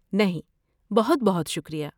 نہیں، بہت بہت شکریہ۔